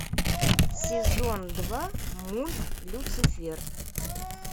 сезон два мульт люцифер